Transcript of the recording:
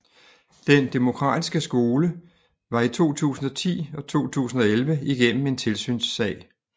Den Demokratiske Skole var i 2010 og 2011 igennem en tilsynssag